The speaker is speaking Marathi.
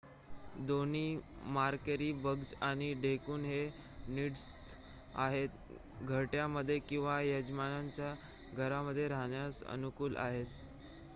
दोन्ही मारेकरी बग्ज आणि ढेकुण हे नीडस्थ आहेत घरट्यामध्ये किंवा यजमानांच्या घरामध्ये राहण्यास अनुकूल आहेत